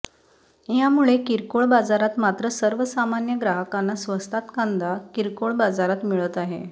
यामुळे किरकोळ बाजारात मात्र सर्वसामान्य ग्राहकांना स्वस्तात कांदा किरकोळ बाजारात मिळत आहे